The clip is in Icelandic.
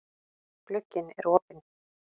Glugginn er opinn.